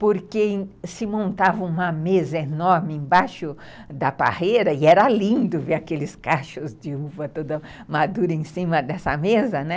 Porque se montava uma mesa enorme embaixo da parreira e era lindo ver aqueles cachos de uva toda madura em cima dessa mesa, né?